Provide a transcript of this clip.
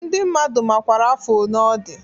Ndị mmadụ makwara afọ one ọ dị